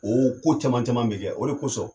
O ko caman caman bɛ kɛ o de kosɔn